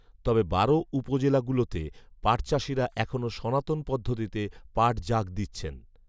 তবে বারো উপজেলাগুলোতে পাটচাষীরা এখনো সনাতন পদ্ধতিতে পাট জাগ দিচ্ছেন